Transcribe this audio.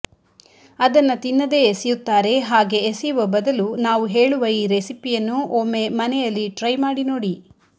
ಅದನ್ನ ತಿನ್ನದೆ ಎಸೆಯುತ್ತಾರೆ ಹಾಗೆ ಎಸೆಯುವ ಬದಲು ನಾವು ಹೇಳುವ ಈ ರೆಸಿಪಿಯನ್ನು ಒಮ್ಮೆ ಮನೆಯಲ್ಲಿ ಟ್ರೈ ಮಾಡಿ ನೋಡಿ